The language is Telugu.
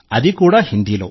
అది కూడా హిందీలో